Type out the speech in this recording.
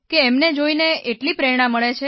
એમને જોઇજોઇને એટલી પ્રેરણા મળે છે